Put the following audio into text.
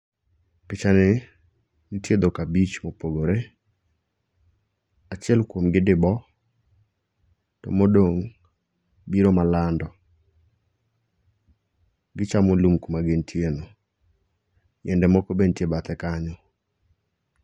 Picha ni nitie dhok abich mopogore. Achiel kuomgi dibo to modong' biro ma lando. Kichamo lum kuma gintie no. Yiende moko be nitie bathe kanyo.